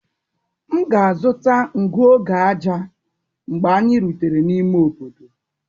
M ga-azụta ngụ oge ájá mgbe anyị rutere n'ime obodo.